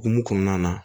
Hokumu kɔnɔna na